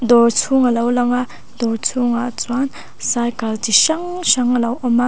dawr chhung a lo lang a dawr chhungah chuan cycle chi hrang hrang a lo awm a.